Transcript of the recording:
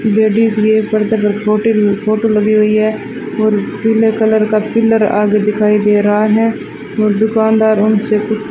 ladies भी है पर्दे पर फोटील फोटो लगी हुई है और पीले कलर का पिलर आगे दिखाई दे रहा है और दुकानदार उनसे--